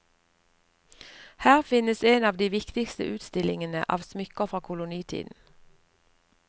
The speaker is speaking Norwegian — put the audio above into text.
Her finnes en av de viktigste utstillingene av smykker fra kolonitiden.